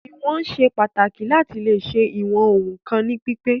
Ìwọ̀n ṣe pàtàkì láti leè ṣe ìwọn ohun kan ní pípé.